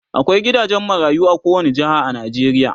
akwai gidajen marayu a kowani jeha a Najeriya